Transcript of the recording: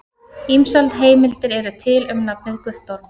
Ýmsar heimildir eru til um nafnið Guttorm.